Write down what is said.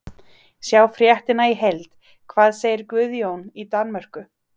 Sjá fréttina í heild: Hvað segir Guðjón í Danmörku?